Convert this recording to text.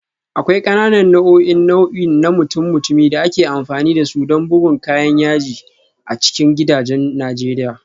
Akwai ƙananan nau'o'in nau'i na mutum-mutumi da ake amfani da su don bugun kayan yaji a cikin gidajen Najeriya